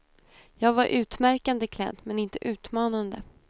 Jag var utmärkande klädd, men inte utmanande.